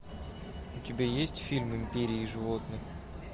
у тебя есть фильм империя животных